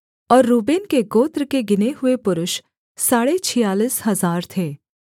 और रूबेन के गोत्र के गिने हुए पुरुष साढ़े छियालीस हजार थे